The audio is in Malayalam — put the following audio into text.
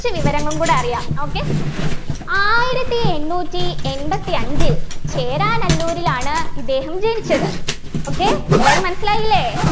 കുറച്ചു വിവരങ്ങളും കൂടെ അറിയാം okay ആയിരത്തി എണ്ണൂറ്റി എൺപത്തി അഞ്ചിൽ ചേരാനല്ലൂരിലാണ് ഇദ്ദേഹം ജനിച്ചത് okay എല്ലാരും മനസ്സിലായില്ലേ